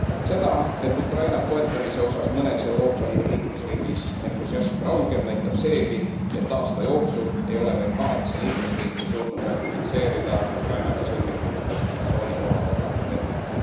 Seda, et Ukraina toetamise osas mõnes Euroopa Liidu liikmesriigis entusiasm raugeb, näitab seegi, et aasta jooksul ei ole veel kaheksa liikmesriiki suutnud ratifitseerida Ukrainaga sõlmitud assotsieerimis ja vabakaubanduslepingut.